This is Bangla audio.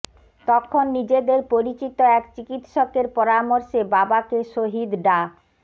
তখন নিজেদের পরিচিত এক চিকিৎসকের পরামর্শে বাবাকে শহীদ ডা